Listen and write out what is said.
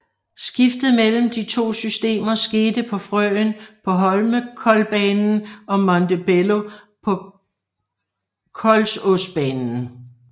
Skiftet mellem de to systemer skete på Frøen på Holmenkollbanen og Montebello på Kolsåsbanen